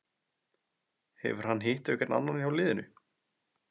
Hefur hann hitt einhvern annan hjá liðinu?